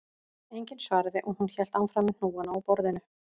Enginn svaraði og hún hélt áfram með hnúana á borðinu